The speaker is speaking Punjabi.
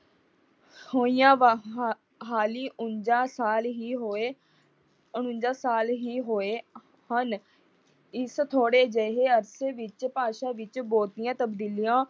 ਹੋਈਆਂ ਉਨੰਜਾਂ ਸਾਲ ਹੀ ਹੋਏ ਉਨੰਜਾਂ ਸਾਲ ਹੀ ਹੋਏ ਹਨ। ਇਸ ਥੋੜ੍ਹੇ ਜਿਹੇ ਅਰਸੇ ਵਿੱਚ ਭਾਸ਼ਾ ਵਿੱਚ ਬਹੁਤੀਆਂ ਤਬਦੀਲੀਆਂ